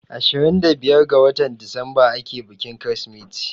Ashirin da biyar ga watar disamba ake bikin Kirsimeti.